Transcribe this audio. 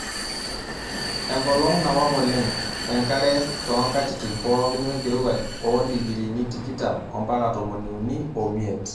Eenkolong' nawang' oleng':enkare too nkatitin pooki wenkirowuaj oo ndikirini tikitam ompaka tomoni uni omiet.